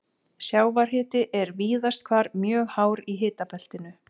Sjávarhiti er víðast hvar mjög hár í hitabeltinu.